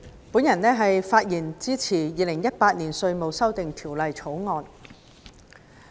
代理主席，我發言支持《2018年稅務條例草案》。